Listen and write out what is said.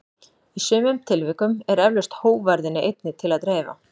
Í sumum tilvikum er eflaust hógværðinni einni til að dreifa.